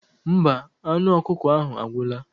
Mba, anụ ọkụkọ ahụ agwụla.